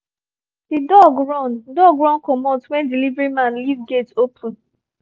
the dog run dog run comot when delivery man leave gate open